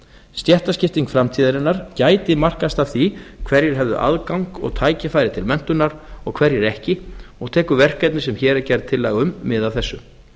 stéttaskipting framtíðarinnar gæti markast af því hverjir hefðu aðgang og tækifæri til menntunar og hverjir ekki og tekur verkefni sem hér er gerð tillaga um mið af þessu